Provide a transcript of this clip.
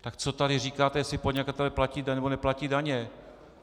Tak co tady říkáte, jestli podnikatelé platí daně nebo neplatí daně?